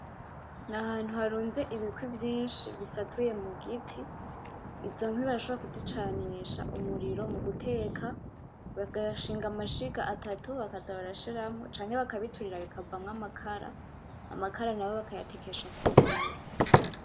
N'ahantu harunze ibikwi vyinshi bisatuye mu giti. Izo nkwi bashobora kuzicanisha umuriro mu guteka, bagashinga amashiga atatu bakaza barashiramo, canke bakabiturira bikavamo amakara. Amakara nayo bakayatekesha ku mbabura.